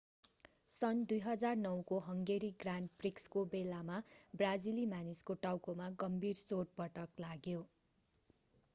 सन् 2009 को Hungary grand प्रिक्सको बेलामा ब्राजिली मानिसको टाउकोमा गम्भीर चोटपटक लाग्यो